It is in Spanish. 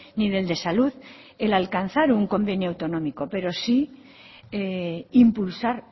ni del de salud el alcanzar un convenio autonómico pero sí impulsar